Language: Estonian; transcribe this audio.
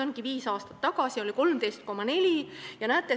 Viis aastat tagasi oli see 13,4%.